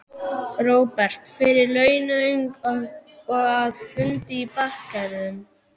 Róbert: Fyrir launung og að, fundi í bakherbergjum?